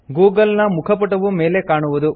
Google ನ ಮುಖಪುಟವು ಮೇಲೆ ಕಾಣುವುದು